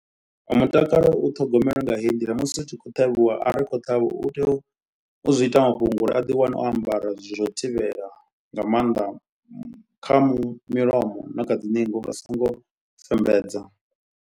Mutakalo u ṱhogomelwa nga heyi nḓila musi u tshi khou ṱhavhiwa. Ari khou ṱhavhiwa u tea u zwi ita mafhungo uri a ḓiwane o ambara zwithu zwa u thivhela. Nga maanḓa kha mu milomo na kha dzi ningo uri a so ngo fembedza.